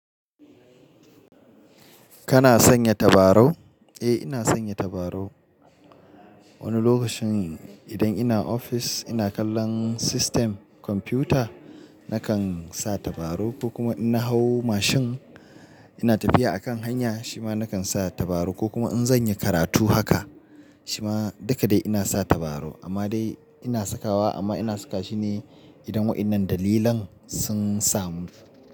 Kana sanya tabarau? Eh ina sanya tabarau. Wani lokacin idan ina ofis ina kallon system kwamfuta nakan sa tabarau ko kuma in na hau mashin ina tafiya a kan hanya shima nakan sa tabarau ko kuma in zan yi karatu haka shima duka dai ina sa tabarau amma dai ina sakawa amma ina saka shi ne idan waɗannan dalilan sun samu.